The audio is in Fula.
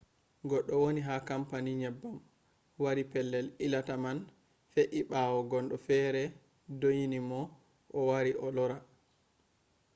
goɗɗo woni ha kampani nyebbam wari pellel ilata man fe’i ɓawo gondo fere ɗyonimo o wara o lara